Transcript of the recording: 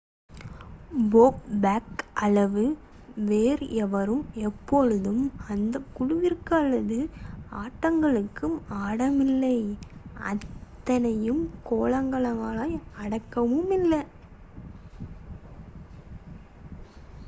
போ பேக் அளவு வேறு எவரும் எப்பொழுதும் அந்த குழுவிற்கு அவ்வளவு ஆட்டங்கள் ஆடவுமில்லை அத்தனை கோல்கள் அடிக்கவுமில்லை